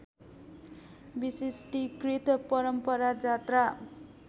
विशिष्टिकृत परम्परा जात्रा